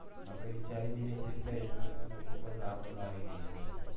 આપડે વિચારી નય શકતા એટલું એટલું લોકો પર આફત આવી ગય છે